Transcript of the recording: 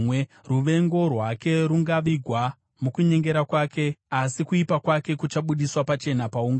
Ruvengo rwake rungavigwa mukunyengera kwake, asi kuipa kwake kuchabudiswa pachena paungano.